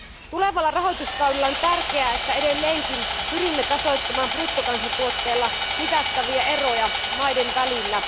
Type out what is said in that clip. Tulevalla rahoituskaudella on tärkeää, että edelleenkin pyrimme tasoittamaan bruttokansantuotteella mitattavia eroja maiden välillä.